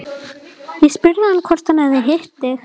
Ég spurði hann hvort hann hefði hitt þig